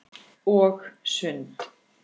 Og sund.